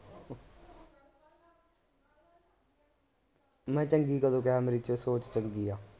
ਮੈ ਚੰਗੀ ਕਦੋਂ ਕਿਹਾ ਮੇਰੀ ਚ ਸੋਚ ਚੰਗੀ ਆ